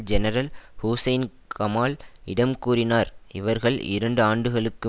general Hussein Kamal இடம் கூறினார் இவர்கள் இரண்டு ஆண்டுகளுக்கு